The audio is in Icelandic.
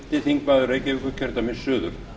fyrsti þingmaður reykjavíkurkjördæmis suður